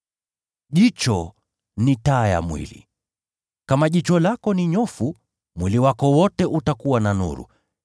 “Jicho ni taa ya mwili. Kama jicho lako ni nyofu, mwili wako wote utajaa nuru.